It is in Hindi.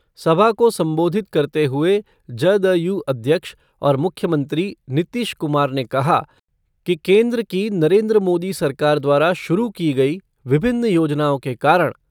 सभा को संबोधित करते हुये जदयू अध्यक्ष और मुख्यमंत्री नीतीश कुमार ने कहा कि केन्द्र की नरेन्द्र मोदी सरकार द्वारा शुरू की गई विभिन्न योजनाओं के कारण